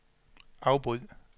afbryd